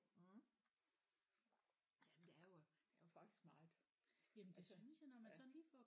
Mh jamen der er jo der er jo faktisk meget altså ja